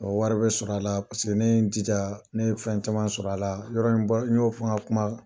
wari bɛ sɔrɔ a la paseke ne ye n jija, ne ye fɛn caman sɔrɔ a la. Yɔrɔ n y'o n ka kuma